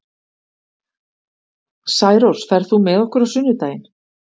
Særós, ferð þú með okkur á sunnudaginn?